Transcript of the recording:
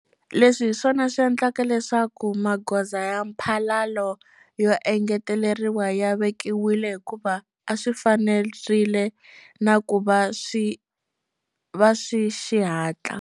Leswi hiswona swi endlaka leswaku magoza ya mphalalo yo engeteleriwa ya vekiwile hikuva a swi fanerile na ku va swa xihatla.